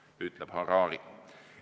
" Nii ütleb Harari.